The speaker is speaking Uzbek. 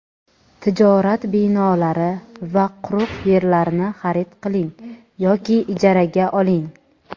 tijorat binolari va quruq yerlarni xarid qiling yoki ijaraga oling.